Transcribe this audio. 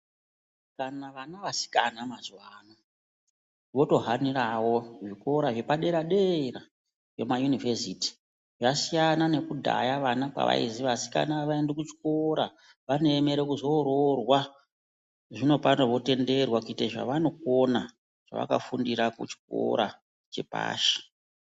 Kana vana vasikana mazuvano, votohanirawo zvikora zvepadera dera zvemayunivhesiti. Yasiyana nekudhaya vana pavaizi vasikana havaendi kuchikora, vanoemera kuzororwa. Zvino pano votenderwa kuite zvavanokona zvavafundira kuchikora chepashi.